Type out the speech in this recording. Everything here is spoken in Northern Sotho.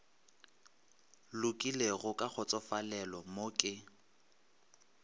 lokologilego ka kgotsofalelo mo ke